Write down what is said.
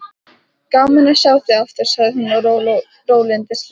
Gaman að sjá þig aftur, sagði hún rólyndislega.